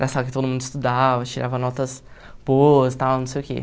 Era sala que todo mundo estudava, tirava notas boas, tal, não sei o quê.